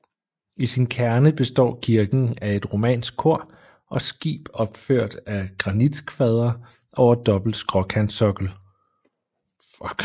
I sin kerne består kirken af et romansk kor og skib opført af granitkvadre over dobbelt skråkantsokkel